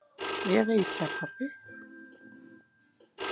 Ég veit það pabbi.